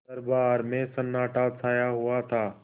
दरबार में सन्नाटा छाया हुआ था